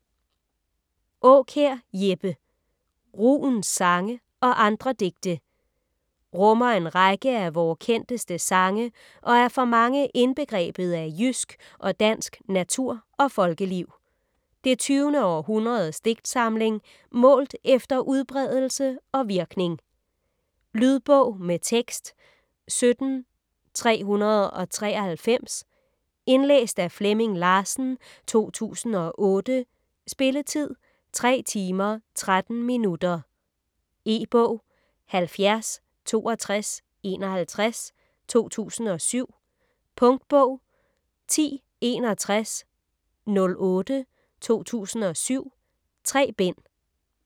Aakjær, Jeppe: Rugens sange og andre digte Rummer en række af vore kendteste sange og er for mange indbegrebet af jysk - og dansk - natur og folkeliv. Det tyvende århundredes digtsamling - målt efter udbredelse og virkning. Lydbog med tekst 17393 Indlæst af Flemming Larsen, 2008. Spilletid: 3 timer, 13 minutter. E-bog 706251 2007. Punktbog 106108 2007. 3 bind.